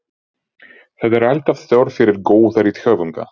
Það er alltaf þörf fyrir góða rithöfunda.